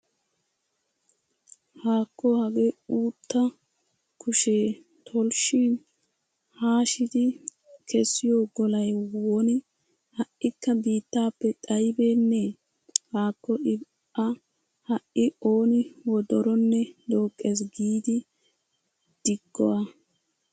Haakko hagee uuttaa kushee tolshshin haashidi kessiyo golay woni ha"ikka biittaappe xayibeennee? Haakko I A ha"i ooni wodoronne dooqqees giidi diggo A.